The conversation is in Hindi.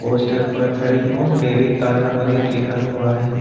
पोस्टर पर हरिओम डेयरी ताजा पनीर लिखा हुआ है।